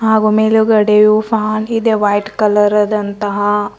ಹಾಗೂ ಮೇಲುಗಡೆಯು ಫ್ಯಾನ್ ಇದೆ ವೈಟ್ ಕಲರದಂತಹ --